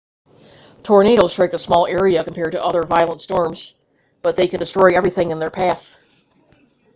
tornadoes strike a small area compared to other violent storms but they can destroy everything in their path